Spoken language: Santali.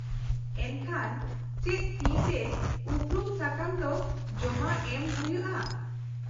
-ᱮᱱᱠᱷᱟᱱ ᱪᱮᱫ ᱛᱤᱛᱮ ᱩᱯᱨᱩᱢ ᱥᱟᱠᱟᱢ ᱫᱚ ᱡᱚᱢᱟ ᱮᱢ ᱦᱩᱭᱳᱩᱼᱟ ?